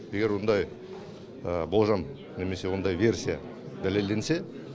егер ондай болжам немесе ондай версия дәлелденсе